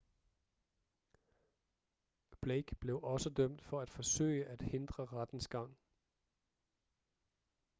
blake blev også dømt for at forsøge at hindre rettens gang